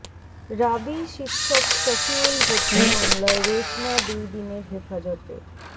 রাবি শিক্ষক শফিউল হত্যা মামলায় রেশমা দুই দিনের হেফাজতে